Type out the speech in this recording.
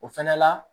O fɛnɛ la